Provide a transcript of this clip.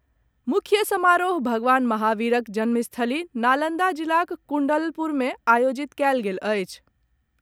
मुख्य समारोह भगवान महावीरक जन्मस्थली नालंदा जिलाक कुण्डलपुर मे आयोजित कएल गेल अछि।